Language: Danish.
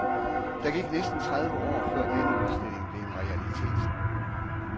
Der gik næsten tredive år, før denne udstilling blev en realitet.